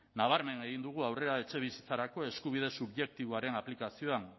nabarmen egin dugu aurrera etxebizitzarako eskubide subjektiboaren aplikazioan